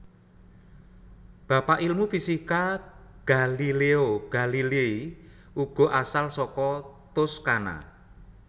Bapak ilmu fisika Galileo Galilei uga asal saka Toscana